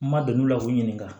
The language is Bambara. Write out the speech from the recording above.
N ma don n'a la k'u ɲininka